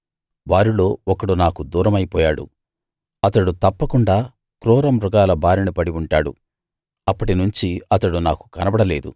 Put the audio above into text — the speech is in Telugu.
వారిలో ఒకడు నాకు దూరమైపోయాడు అతడు తప్పకుండా క్రూర మృగాల బారిన పడి ఉంటాడు అప్పటినుంచి అతడు నాకు కనబడలేదు